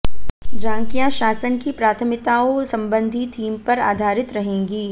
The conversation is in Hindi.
झांकियां शासन की प्राथमिताओं संबधी थीम पर आधारित रहेंगीं